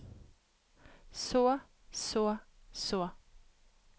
så så så